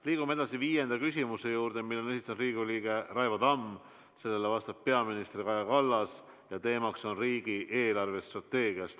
Liigume edasi viienda küsimuse juurde, mille esitab Riigikogu liige Raivo Tamm, sellele vastab peaminister Kaja Kallas ja teemaks on riigi eelarvestrateegia.